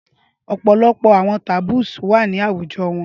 Ọpọlọpọ awọn taboos wa ni awujọ wọn